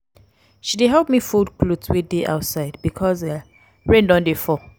she dey help me fold cloth wey dey outside because rain don dey fall